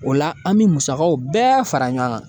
O la an bi musakaw bɛɛ fara ɲɔgɔn kan.